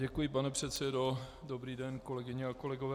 Děkuji, pane předsedo, dobrý den, kolegyně a kolegové.